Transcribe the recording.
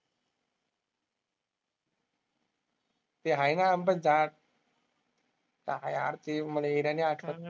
ते आहे ना आंब्याचे झाड. काय यार ते मला एरिया नाही आठवत.